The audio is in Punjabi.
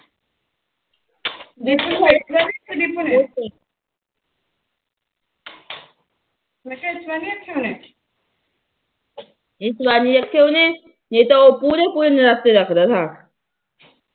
ਇਸ ਵਾਰ ਰੱਖੇ ਉਹਨੇ ਨਹੀ ਤਾ ਪੂਰੇ ਪੂਰੇ ਨਰਾਤੇ ਰੱਖਦਾ ਥਾ